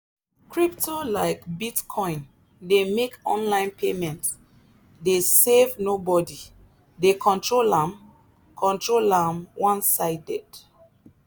crypto like bitcoin dey make online payment dey save nobody dey control am control am one-sided.